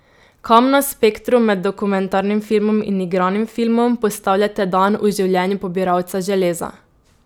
Kam na spektru med dokumentarnim filmom in igranim filmom postavljate Dan v življenju pobiralca železa?